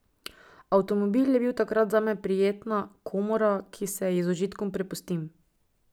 Avtomobil je takrat zame prijetna komora, ki se ji z užitkom prepustim.